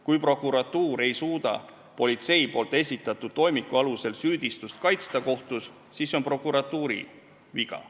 Kui prokuratuur ei suuda politsei esitatud toimiku alusel süüdistust kohtus kaitsta, siis see on prokuratuuri viga.